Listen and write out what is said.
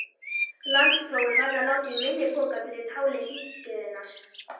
Landsprófið varð að láta í minni pokann fyrir táli hringiðunnar.